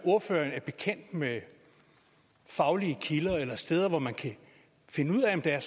ordføreren er bekendt med faglige kilder eller steder hvor man kan finde ud af om der er